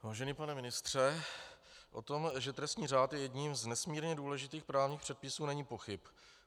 Vážený pane ministře, o tom, že trestní řád je jedním z nesmírně důležitých právních předpisů, není pochyb.